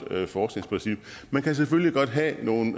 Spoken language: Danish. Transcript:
forskningsprincip man kan selvfølgelig godt have nogle